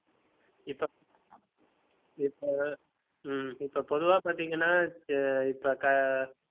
இப்ப இப்ப உம் இப்ப பொதுவா பார்த்தீங்கன்னா இப்ப க~